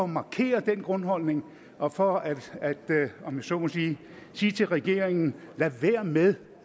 markere den grundholdning og for at om jeg så må sige sige til regeringen lad være med